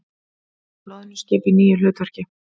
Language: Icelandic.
Loðnuskip í nýju hlutverki